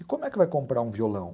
E como é que vai comprar um violão?